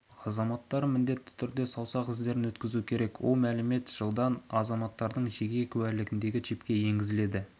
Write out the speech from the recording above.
азаматтары міндетті түрде саусақ іздерін өткізуі керек ол мәлімет жылдан азаматтардың жеке куәлігіндегі чипке енгізіледі